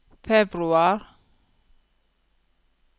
februar